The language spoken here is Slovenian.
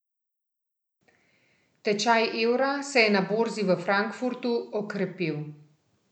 Tečaj evra se je na borzi v Frankfurtu okrepil.